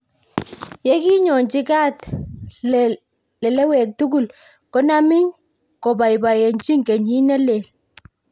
Yeki nyochi kaat lelewek tugul konami kobaibaenjin kenyit ne lel